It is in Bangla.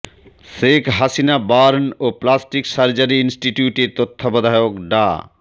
শেখ হাসিনা বার্ন ও প্লাস্টিক সার্জারি ইনস্টিটিউটের তত্ত্বাবধায়ক ডা